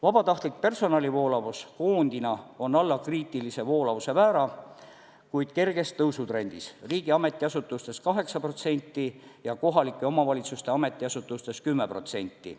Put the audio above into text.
Vabatahtlik personalivoolavus koondina on alla kriitilise voolavuse määra, kuid kerges tõusutrendis: riigi ametiasutustes 8% ja kohalike omavalitsuste ametiasutustes 10%.